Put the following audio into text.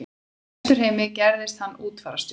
Í Vesturheimi gerðist hann útfararstjóri.